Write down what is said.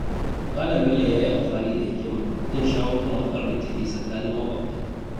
Malam Bello ya yi amfani da hikima wajen shawo kan matsalar da ke tsakanin maƙwabta.